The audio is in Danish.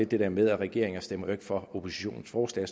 det der med at regeringen ikke stemmer for oppositionens forslag